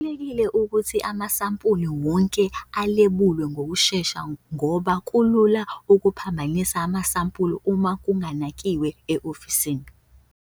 Kubalulekile ukuthi amasampuli wonke alebulwe ngokushesha ngoba kulula ukuphambanisa amasampuli uma kunganakiwe e-ofisini.